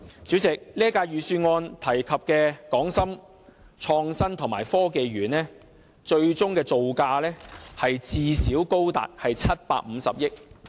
主席，這份預算案提及的港深創新及科技園，最終造價最少高達750億元。